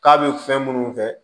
K'a bɛ fɛn minnu kɛ